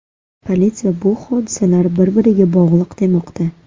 Politsiya bu hodisalar bir-biriga bog‘liq demoqda.